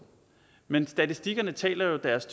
men statistikkerne taler jo deres